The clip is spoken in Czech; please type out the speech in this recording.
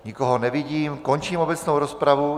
Nikoho nevidím, končím obecnou rozpravu.